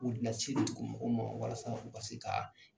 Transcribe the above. dugu mɔgɔw ma walasa u ka se ka